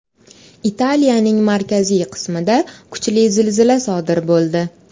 Italiyaning markaziy qismida kuchli zilzila sodir bo‘ldi.